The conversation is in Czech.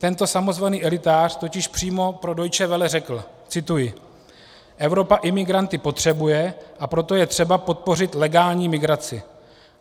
Tento samozvaný elitář totiž přímo pro Deutsche Welle řekl - cituji: "Evropa imigranty potřebuje, a proto je třeba podpořit legální migraci.